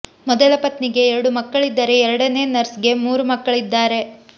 ಮೊದಲ ಪತ್ನಿಗೆ ಎರಡು ಮಕ್ಕಳಿದ್ದರೆ ಎರಡನೇ ನರ್ಸ್ ಗೆ ಮೂರು ಮಕ್ಕಳಿದ್ದಾರೆ